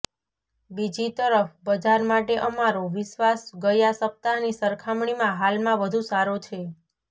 બીજી તરફ બજાર માટે અમારો વિશ્વાસ ગયા સપ્તાહની સરખામણીમાં હાલમાં વધુ સારો છે